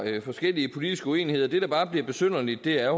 forskellige politiske uenigheder det der bare bliver besynderligt er